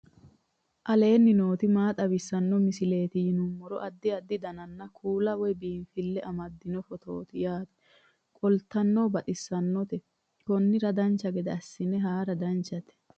aleenni nooti maa xawisanno misileeti yinummoro addi addi dananna kuula woy biinsille amaddino footooti yaate qoltenno baxissannote konnira dancha gede assine haara danchate